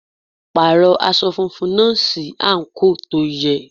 Pàrọ̀ aṣọ funfun náà sí àǹkóò tó yẹ.